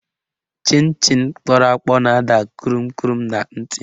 Chịn Chịn kpọrọ akpọ na-ada kụrụm kụrụm na ntị